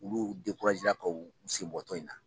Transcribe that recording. Olu kun sen bɔ tɔn in na